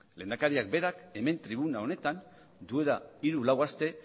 lehendakariak berak hemen tribuna honetan duela hiru lau aste